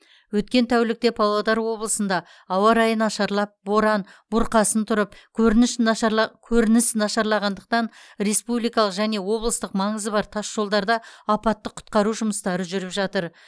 өткен тәулікте павлодар облысында ауа райы нашарлап боран бұрқасын тұрып көрініш нашарла көрініс нашарлағандықтан республикалық және облыстық маңызы бар тасжолдарда апаттық құтқару жұмыстары жүріп жатыр